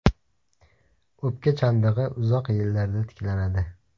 O‘pka chandig‘i uzoq yillarda tiklanadi.